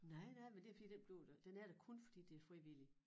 Nej nej men det fordi den blev der den er der kun fordi det frivillige